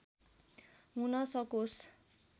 हुन सकोस्